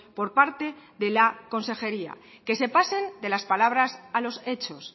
por parte de la consejería que se pasen de las palabras a los hechos